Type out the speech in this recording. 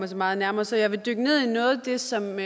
så meget nærmere så jeg vil dykke ned i noget af det som